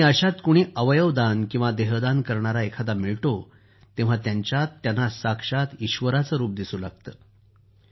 आणि अशात कुणी अवयव दान किंवा देहदान करणारा एखादा मिळतो तेव्हा त्याच्यात त्यांना साक्षात ईश्वराचं रूपच दिसू लागतं